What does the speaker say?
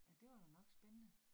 Ja, det var da nok spændende